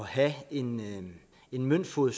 have en møntfod